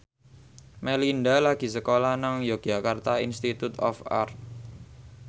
Melinda lagi sekolah nang Yogyakarta Institute of Art